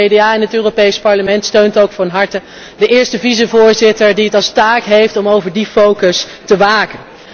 Het CDA in het Europees Parlement steunt ook van harte de eerste vicevoorzitter die als taak heeft om over die focus te waken.